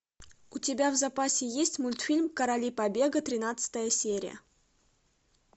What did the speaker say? у тебя в запасе есть мультфильм короли побега тринадцатая серия